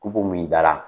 K'u min dala